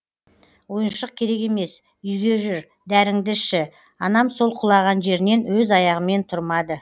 ойыншық керек емес үйге жүр дәріңді ішші анам сол құлаған жерінен өз аяғымен тұрмады